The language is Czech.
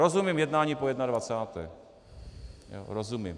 Rozumím jednání po 21., rozumím.